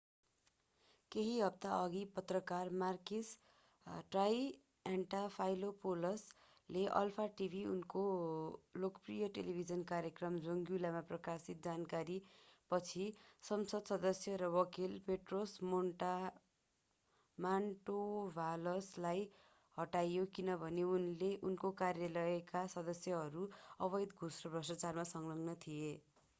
केही हप्ताअघि पत्रकार makis triantafylopoulos ले अल्फा टिभीमा उनको लोकप्रिय टेलिभिजन कार्यक्रम zoungla मा प्रकाशित जानकारीपछि संसद सदस्य र वकील petros mantouvalos लाई हटाइयो किनभने उनको कार्यालयका सदस्यहरू अवैध घूस र भ्रष्टाचारमा संलग्न थिए